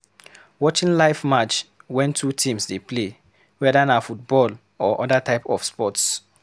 Watching live match wen two teams dey play, weda na football or other types of sports